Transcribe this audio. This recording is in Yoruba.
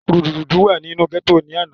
rúdurùdu wà ní inú gẹ́tò ní àná